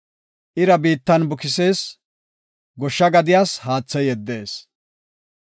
Ira biittan bukisees; goshsha gadiyas haathe yeddees.